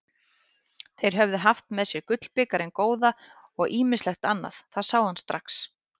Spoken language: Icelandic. Þeir höfðu haft með sér gullbikarinn góða og ýmislegt annað, það sá hann strax.